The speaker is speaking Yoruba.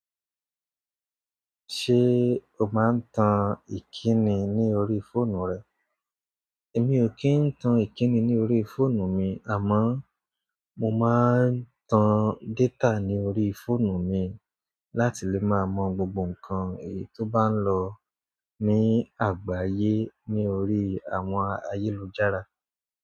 Ṣé o máa ń tan ìkíni ní orí fóònù rẹ? Èmi ò kí ń tan ìkíni ní orí fóònù mi, àmọ́ mo máa ń tan data ní orí fóònù mi láti lè máa mọ gbogbo nǹkan èyí tó bá ń lọ ní àgbáyé ní orí àwọn ayélujára.